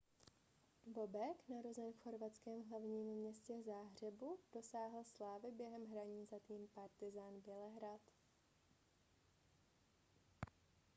bobek narozen v chorvatském hlavním městě záhřebu dosáhl slávy během hraní za tým partizan bělehrad